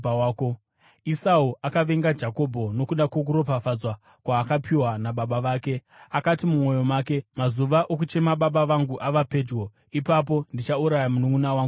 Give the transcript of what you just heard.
Esau akavenga Jakobho nokuda kwokuropafadzwa kwaakapiwa nababa vake. Akati mumwoyo make, “Mazuva okuchema baba vangu ava pedyo; ipapo ndichauraya mununʼuna wangu Jakobho.”